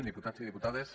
diputats i diputades